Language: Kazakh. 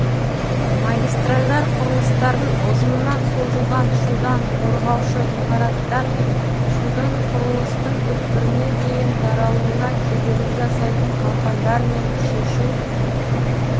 магистральдар құрылыстарын ұзыннан созылған шудан қорғаушы ғимараттармен шудын құрылыстың түкпіріне дейін таралуына кедергі жасайтын қалқандармен шешу